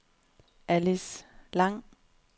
Alice Lang